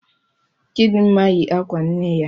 Chidinma yi akwa nne ya.